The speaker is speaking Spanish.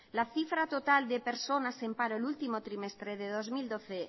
la cifra total de personas en paro el último trimestre de dos mil doce